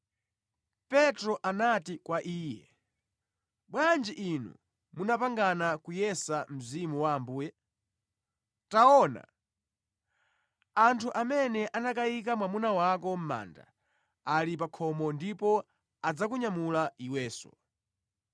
Petro anati kwa iye, “Bwanji inu munapangana kuyesa Mzimu wa Ambuye? Taona! Anthu amene anakayika mwamuna wako mʼmanda ali pa khomo, ndipo adzakunyamula iwenso.”